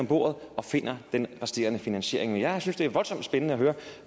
bordet og finder den resterende finansiering men jeg synes det er voldsomt spændende at høre